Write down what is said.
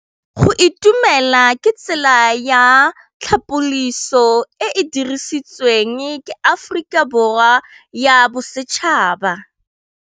Go itumela ke tsela ya tlhapolisô e e dirisitsweng ke Aforika Borwa ya Bosetšhaba.